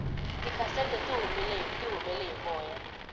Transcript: tikhasete tihumele hi moya